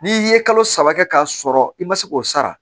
N'i ye kalo saba kɛ k'a sɔrɔ i ma se k'o sara